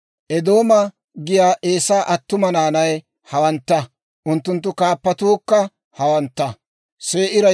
Eedooma giyaa Eesaa attuma naanay hawantta; unttunttu kaappatuukka hawantta.